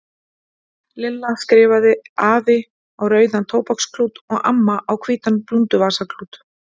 Lilla skrifaði AFI á rauðan tóbaksklút og AMMA á hvítan blúnduvasaklút.